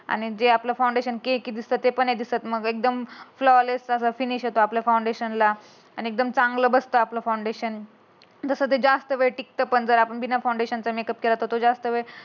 आणि जे आपल फाउंडेशन स्कीनच दिसते ते पण नाही दिसत. एकदम फ्लॉलीस सोबत फिनिशिंग येतो. आपल्या फाउंडेशन ला आणि एकदम चांगलं बसत आपलं फाउंडेशन. तसं ते जास्त वेळ टिकत पण आपण बिना फाउंडेशन चा मेकअप केला तर तो जास्त वेळ